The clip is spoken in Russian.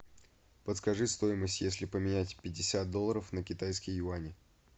подскажи стоимость если поменять пятьдесят долларов на китайские юани